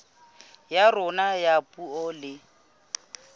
ya rona ya puo le